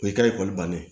O y'i ka ekɔli bannen ye